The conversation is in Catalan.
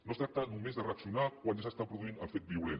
no es tracta només de reaccionar quan ja s’està produint el fet violent